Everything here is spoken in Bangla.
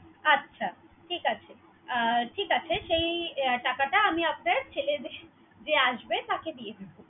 আচ্ছা ঠিক আছে। ঠিক আছে সেই টাকাটা, আমি আপনার ছেলে যেই আসবে তাকে দিয়ে দিবো।